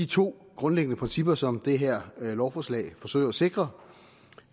to grundprincipper som det her lovforslag forsøger at sikre